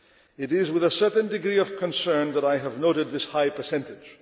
It is with a certain degree of concern that I have noted this high percentage.